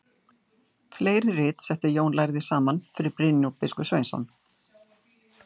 Fleiri rit setti Jón lærði saman fyrir Brynjólf biskup Sveinsson.